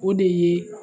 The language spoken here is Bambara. O de ye